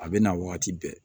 A bɛ na wagati bɛɛ